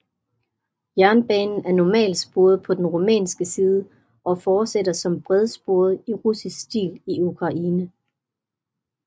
Jernbanen er normalsporet på den rumænske side og fortsætter som bredsporet i russisk stil i Ukraine